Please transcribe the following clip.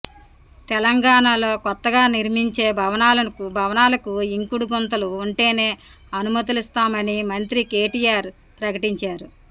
తెలంగాణలో కొత్తగా నిర్మించే భవనాలకు ఇంకుడు గుంతలు ఉంటేనే అనుమతులిస్తామని మంత్రి కేటీఆర్ ప్రకటించారు